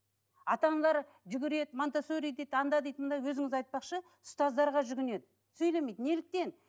ата аналар жүгіреді монтессори дейді анда дейді мұнда өзіңіз айтпақшы ұстаздарға жүгінеді сөйлемейді неліктен